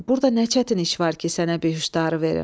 Burada nə çətin iş var ki, sənə bihuşdarı verim?